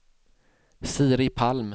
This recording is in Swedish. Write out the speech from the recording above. Siri Palm